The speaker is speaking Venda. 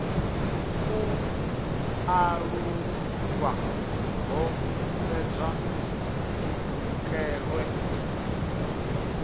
u ṱalulwa ho sedzwa kusikelwe